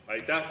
Aitäh!